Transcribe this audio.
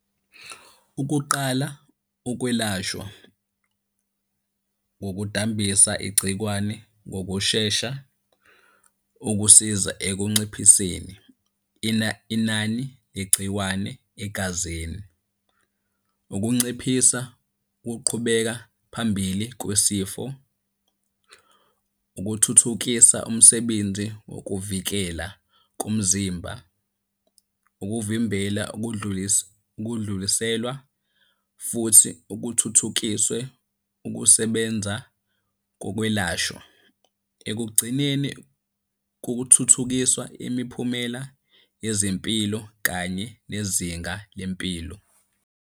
Ukuqala ukwelashwa ngokudambisa igcikwane ngokushesha, ukusiza ekunciphiseni inani legciwane egazini. Ukunciphisa ukuqhubeka phambili kwesifo. Ukuthuthukisa umsebenzi wokuvikela komzimba. Ukuvimbela ukudluliselwa futhi ukuthuthukiswe ukusebenza kokwelashwa. Ekugcineni kuthuthukiswa imiphumela yezempilo kanye nezinga lempilo.